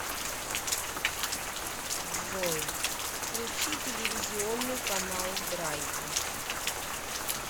джой включи телевизионный канал драйв